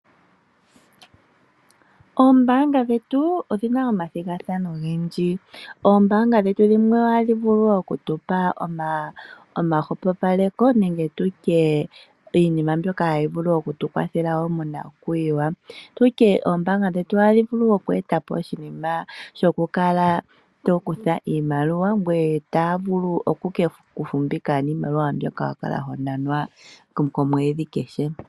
Oombaanga dhetu odhina omathigathano ogendji. Oombaanga dhetu dhimwe ohadhi vulu okutupa omahwepopaleko nege tu tye iinima mbyoka hayi vulu oku tukwathele wo monakuyiwa. Tu tye oombaanga dhetu ohadhi vulu oku etapo oshinima shokukala to kutha iimaliwa, ngoye taya vulu oku ke ku fumbika niimaliwa mbyoka wa kala ho nanwa komweedhi kehe.